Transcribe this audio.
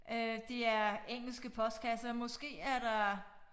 Øh det er engelske postkasser måske er der